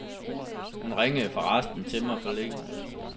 Hun ringede forresten til mig forleden.